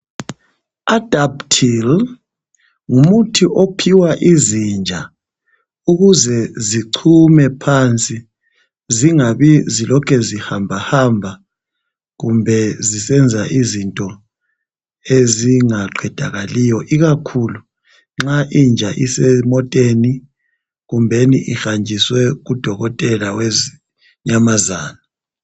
Adaptil ngumuthi ophiwa izinja ukuze zichume phansi zingabi zilokhe zihambahamba kumbe zisenza izinto ezingaqedakaliyo, ikakhulu nxa inja isemoteni kumbeni ihanjiswe kudokotela wezinyamazana.